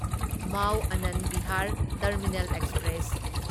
Mao Anand Vihar terminal express